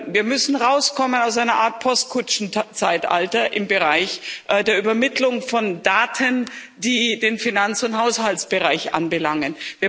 Wir müssen herauskommen aus einer Art Postkutschenzeitalter im Bereich der Übermittlung von Daten, die den Finanz und Haushaltsbereich anbelangen.